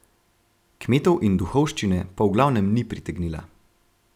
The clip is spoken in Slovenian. Kmetov in duhovščine pa v glavnem ni pritegnila.